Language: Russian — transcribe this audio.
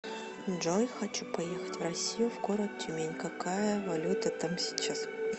джой хочу поехать в россию в город тюмень какая валюта там сейчас